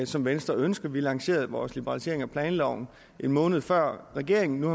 som venstre ønsker vi lancerede vores liberalisering af planloven en måned før regeringen og